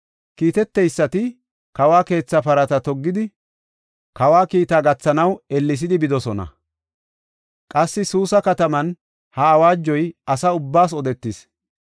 Kiiteteysati kawo keetha parata toggidi, kawa kiitaa gathanaw ellesidi bidosona. Qassi Suusa kataman ha awaajoy asa ubbaas odetis.